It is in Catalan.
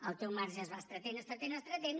el teu marge es va estrenyent estrenyent estrenyent